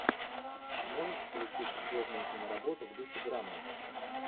можешь включить годную киноработу в духе драмы